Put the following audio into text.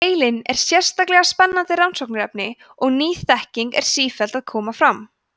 heilinn er sérlega spennandi rannsóknarefni og ný þekking er sífellt að koma fram